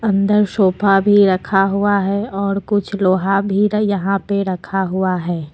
अंदर सोफा भी रखा हुआ है और कुछ लोहा भी यहां पे रखा हुआ है।